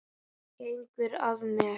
Gengur að mér.